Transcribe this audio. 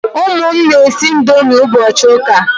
Ụmụ m na-esi ndomi ụbọchi ụka